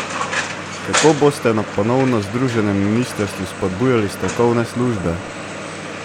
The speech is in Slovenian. Kako boste na ponovno združenem ministrstvu spodbujali strokovne službe?